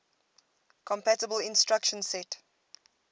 compatible instruction set